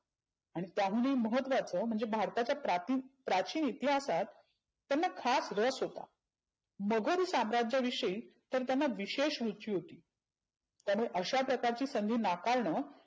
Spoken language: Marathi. आणि त्याहूनही महत्वाचं म्हणजे भारताच्या प्राती प्रचीन इतीहासात त्यांना खास रस होता. भुगोल शास्राच्या विषयी तर त्यांना विशेष रुची होती. त्यांनी अशा प्रकारची संधी नाकारनं.